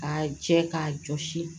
K'a jɛ k'a jɔsi